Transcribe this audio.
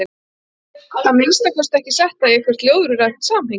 Ég get að minnsta kosti ekki sett það í eitthvert ljóðrænt samhengi.